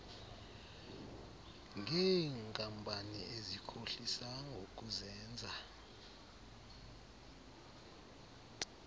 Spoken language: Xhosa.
ngeenkampani ezikhohlisa ngokuzenza